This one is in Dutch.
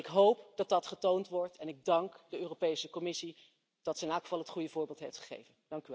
Ik hoop dat die getoond worden, en ik dank de Europese Commissie dat ze in elk geval het goede voorbeeld heeft gegeven.